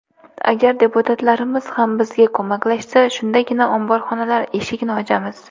Agar deputatlarimiz ham bizga ko‘maklashsa, shundagina omborxonalar eshigini ochamiz.